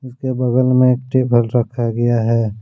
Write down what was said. उसके बगल मे एक टेबल रखा गया है।